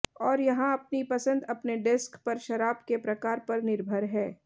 और यहाँ अपनी पसंद अपने डेस्क पर शराब के प्रकार पर निर्भर है